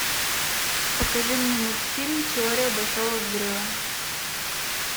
покажи мне мультфильм теория большого взрыва